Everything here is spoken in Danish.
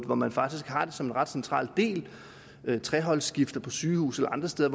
hvor man faktisk har det som en ret central del ved treholdsskift på sygehuse og andre steder